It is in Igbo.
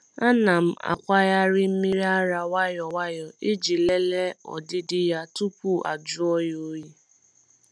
A na m akwagharị mmiri ara nwayọ nwayọ iji lelee ọdịdị ya tupu ajụọ ya oyi.